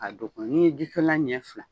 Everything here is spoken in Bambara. A dɔn ko n'i ye ji solilan ɲɛ fila